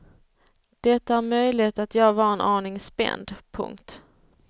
Det är möjligt att jag var en aning spänd. punkt